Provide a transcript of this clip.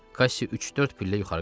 Kaşşi üç-dörd pillə yuxarı qalxdı.